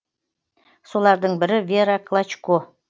солардың бірі вера клочко